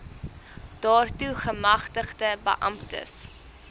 daartoe gemagtigde beamptes